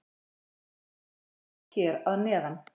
Bygging þeirra sést hér að neðan.